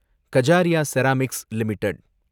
Kajaria ceramics limited